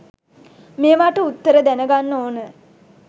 මේවාට උත්තර දැන ගන්න ඕන